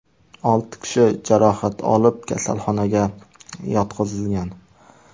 Olti kishi jarohat olib, kasalxonaga yotqizilgan.